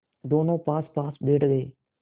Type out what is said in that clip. दोेनों पासपास बैठ गए